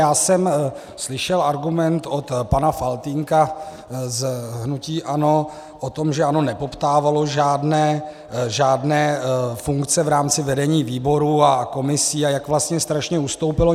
Já jsem slyšel argument od pana Faltýnka z hnutí ANO o tom, že ANO nepoptávalo žádné funkce v rámci vedení výborů a komisí a jak vlastně strašně ustoupilo.